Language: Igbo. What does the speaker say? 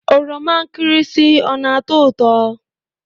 Oroma nkirisi ọ na-ató ụtọ?